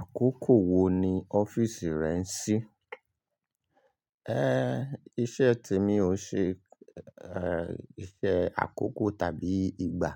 Àkókò wo ni ọ́fíìsì rẹ ń ṣí? Iṣẹ́ te mi ò ṣe, iṣẹ́ àkókò tàbí ìgbà,